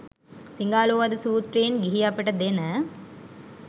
සිඟාලෝවාද සුත්‍රයෙන් ගිහි අපට දෙන